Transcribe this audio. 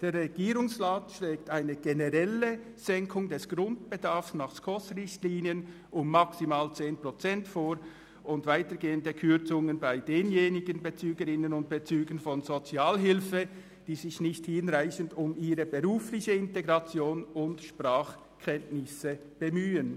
Der Regierungsrat schlägt eine generelle Senkung des Grundbedarfs nach den Richtlinien der Schweizerischen Konferenz für Sozialhilfe (SKOS) um maximal 10 Prozent vor und weitergehende Kürzungen bei denjenigen Bezügerinnen und Bezügern von Sozialhilfe, die sich nicht hinreichend um ihre berufliche Integration und Sprachkenntnisse bemühen.